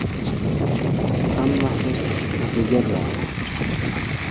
Hammasi o‘ziga bog‘liq.